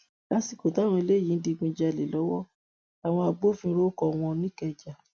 lásìkò táwọn eléyìí ń digunjalè lọwọ làwọn agbófinró kọ wọn nìkẹjà